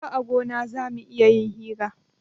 Har a gona zamu iya yin hiran